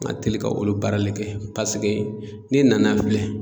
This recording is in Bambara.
N ka teli ka olu baarale kɛ paseke n'i nana filɛ